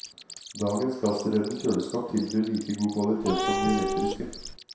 Dagens gassdrevne kjøleskap tilbyr like god kvalitet som de elektriske.